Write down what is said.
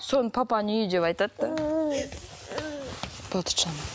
соны папаның үйі деп айтады да болды жылама